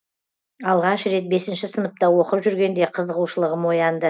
алғаш рет бесінші сыныпта оқып жүргенде қызығушылығым оянды